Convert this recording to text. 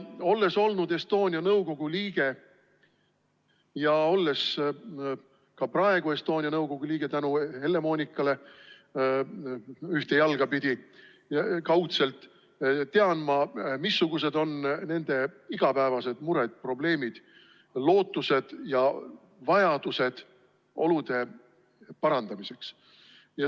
Olles olnud Estonia nõukogu liige ja olles ka praegu ühte jalga pidi kaudselt Estonia nõukogu liige tänu Helle-Moonikale, tean ma, missugused on nende igapäevased mured, probleemid, lootused ja olude parandamise vajadused.